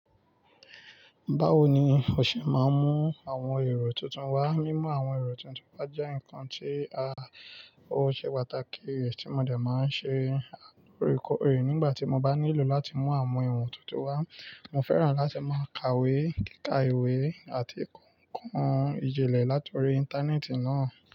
Báwo ni o ṣe máa ń mú àwọn èrò tuntun wá? Mímú àwọn èrò tuntun wá jẹ́ nǹkan tí a, ó ṣe pàtàkì rẹ̀ tí mo dà máa ń ṣe lóòrèkóòrè nígbà tí mo bá nílò láti mú àwọn ohun tuntun wá. Mo fẹ́ràn láti máa ka ìwé, kíkà ìwé àti kó ń kọ ijinlẹ̀ látòrí Íńtánẹ́ẹ̀tì náà.